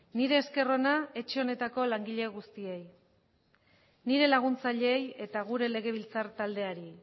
nire esker ona etxe honetako langile guztiei nire laguntzaileei eta gure legebiltzar taldeari